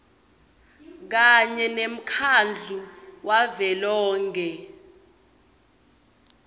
kanye nemkhandlu wavelonkhe